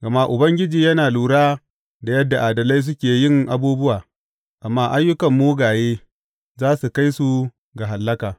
Gama Ubangiji yana lura da yadda adalai suke yin abubuwa, amma ayyukan mugaye za su kai su ga hallaka.